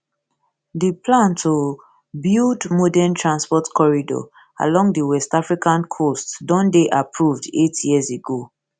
di plan to build modern transport corridor along di west african coast don dey approved eight years ago